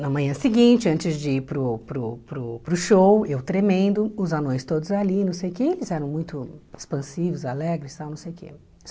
Na manhã seguinte, antes de ir para o para o para o para o show, eu tremendo, os anões todos ali, não sei o quê, eles eram muito expansivos, alegres, tal não sei o quê.